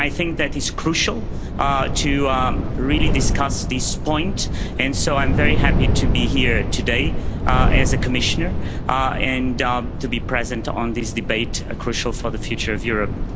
I think that it is crucial to really discuss this point and so I'm very happy to be here today as a Commissioner and to be present at this debate which is crucial for the future of Europe.